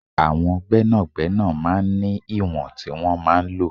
Àwọn gbẹ́nàgbẹ́nà máa ń ní ìwọ̀n tí wọn máa ń lọ.